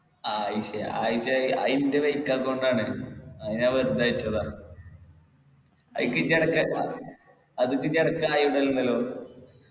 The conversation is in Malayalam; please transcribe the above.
ആയിഷയാ ആയിഷ അയിൻ്റെ fake account ആണ് അത് ഞാൻ വെറുതെ അയച്ചതാ അയക്കി അത് hi ഇടലിണ്ടല്ലോ